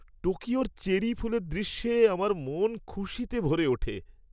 টোকিওর cherry ফুলের দৃশ্যে আমার মন খুশিতে ভরে ওঠে।